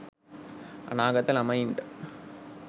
අනාගත ළමයින්ට